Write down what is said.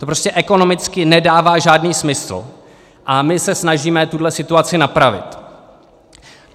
To prostě ekonomicky nedává žádný smysl a my se snažíme tuhle situaci napravit.